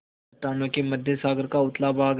चट्टानों के मध्य सागर का उथला भाग है